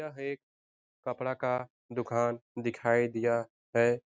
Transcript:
यह एक कपड़ा का दिखाई दिया है।